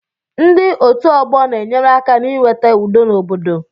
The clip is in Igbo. Ndị otu ọgbọ na-enyere aka n'iweta udo n'obodo